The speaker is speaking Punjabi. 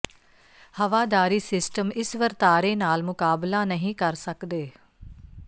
ਹਵਾਦਾਰੀ ਸਿਸਟਮ ਇਸ ਵਰਤਾਰੇ ਨਾਲ ਮੁਕਾਬਲਾ ਨਹੀ ਕਰ ਸਕਦੇ